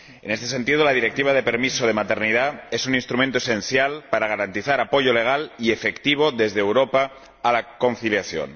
En este sentido, la Directiva sobre el permiso de maternidad es un instrumento esencial para garantizar apoyo legal y efectivo desde Europa a la conciliación.